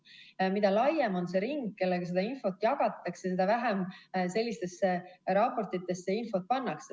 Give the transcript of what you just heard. Mida laiem on see ring, kellega seda infot jagatakse, seda vähem sellistesse raportitesse infot pannakse.